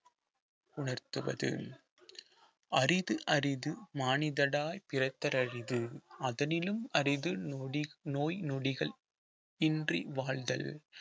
உணர்த்துவது அரிது அரிது மானிதடாய் பிறத்தர அரிது அதனினும் அரிது நொடி நோய் நொடிகள் இன்றி வாழ்தல்